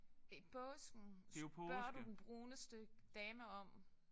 I påsken spørger du den bruneste dame om